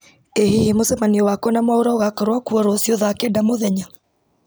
ĩ hihi mũcemanio wakwa na mwaũra ũgakorwo kuo rũciũ thaa kenda mũthenya